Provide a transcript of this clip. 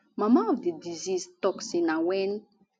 mama of di deceased tok say na wen